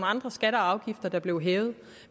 andre skatter og afgifter der blev hævet